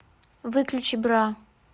выключи бра